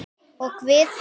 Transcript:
Og við?